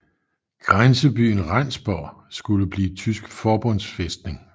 Grænsebyen Rendsborg skulle blive tysk forbundsfæstning